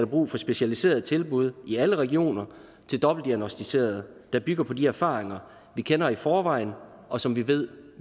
brug for specialiserede tilbud i alle regioner til dobbeltdiagnosticerede der bygger på de erfaringer vi kender i forvejen og som vi ved